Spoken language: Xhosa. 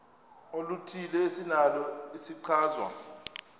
oluthile esinalo isichazwa